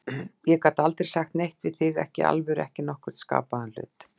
Ég gat aldrei sagt neitt við þig, ekki í alvöru, ekki nokkurn skapaðan hlut.